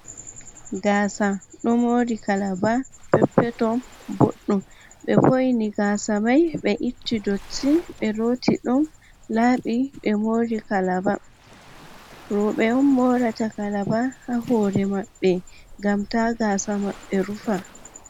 Gasa ɗo mori kalaba pep peton boɗɗum. be vo'ni gasa mai be itti dotti be looti ɗum labbi be mori kalaba. Robe om morata kalaba ha hore maɓɓe ngam ta gasa maɓɓe rufa.